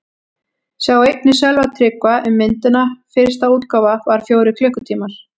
Sjá einnig: Sölvi Tryggva um myndina: Fyrsta útgáfa var fjórir klukkutímar